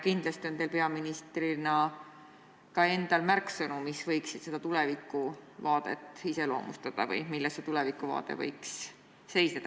Kindlasti on teil peaministrina ka endal märksõnu, mis võiksid seda tulevikuvaadet iseloomustada või milles see võiks seisneda.